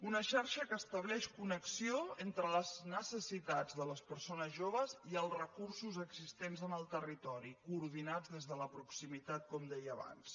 una xarxa que estableix connexió entre les necessitats de les persones joves i els recursos existents en el territori coordinat des de les proximitat com deia abans